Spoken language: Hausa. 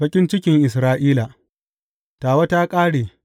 Baƙin cikin Isra’ila Tawa ta ƙare!